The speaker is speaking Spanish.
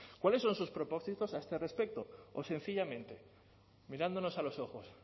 cuáles son sus propósitos a este respecto o sencillamente mirándonos a los ojos